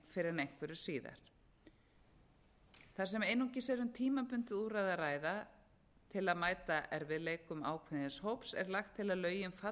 fyrr en einhverju síðar þar sem einungis er um tímabundið úrræði að ræða til að mæta erfiðleikum ákveðins hóps er lagt til að lögin falli úr gildi